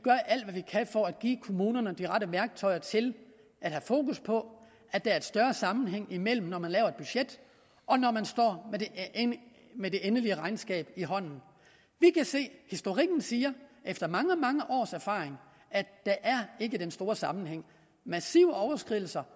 kan for at give kommunerne de rette værktøjer til at have fokus på at der er større sammenhæng imellem når man laver et budget og når man står med det endelige regnskab i hånden vi kan se historikken siger efter mange mange års erfaring at der ikke er den store sammenhæng massive overskridelser